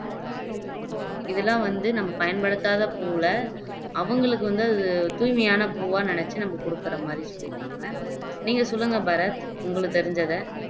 இதெல்லாம் வந்து நம்ம பயன்படுத்தாத பூவுல அவங்களுக்கு வந்து அது தூய்மையான பூவா நினைச்சு நம்ம கொடுக்குற மாதிரி சொல்லியிருக்காங்க நீங்க சொல்லுங்க பாரத் உங்களுக்கு தெரிஞ்சதை